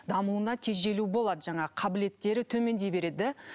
дамуына тежелу болады жаңағы қабілеттері төмендей береді да